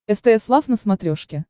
стс лав на смотрешке